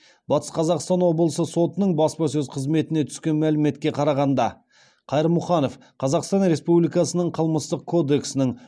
батыс қазақстан облысы сотының баспасөз қызметінен түскен мәліметке қарағанда қайырмұханов қазақстан республикасының қылмыстық кодексінің